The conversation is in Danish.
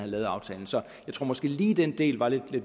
lavet aftalen så jeg tror måske lige at den del var lidt